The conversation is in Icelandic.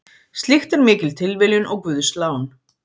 Slíkt er mikil tilviljun og guðslán.